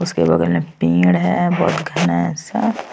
उसके बगल में पेड़ है बहुत घना सा --